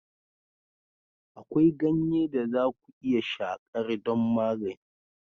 Akwai ganye da za ku iya shakar don magani.